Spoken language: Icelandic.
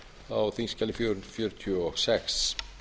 á þingskjali fjögur hundruð fjörutíu og sex